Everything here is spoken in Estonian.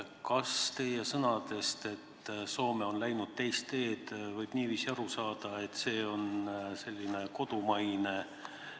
Kas teie sõnadest, et Soome on läinud teist teed, võib niiviisi aru saada, et see on kodumaine regulatsioon?